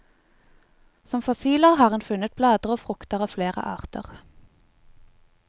Som fossiler har en funnet blader og frukter av flere arter.